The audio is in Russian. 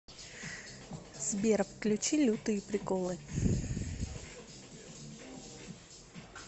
сбер включи лютые приколы